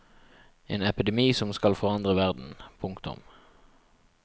En epidemi som skal forandre verden. punktum